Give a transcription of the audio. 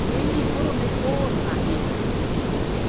Ng`eny ji koro ne ool ahinya.